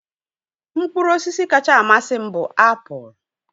Mkpụrụ osisi kacha amasị m bụ apụl